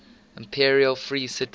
imperial free cities